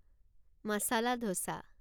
মচলা dosa